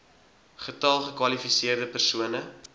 getal gekwalifiseerde persone